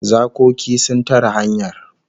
Zakoki sun tare hanyar